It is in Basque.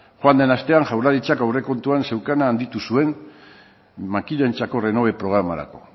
joan den astean jaurlaritzak aurrekontuan zuena handitu zuen makinentzako renove programarako